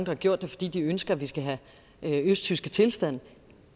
har gjort det fordi de ønsker at vi skal have østtyske tilstande